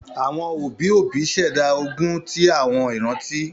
Àwọn òbí òbí ṣẹ̀dá ogún ti àwọn ìrántí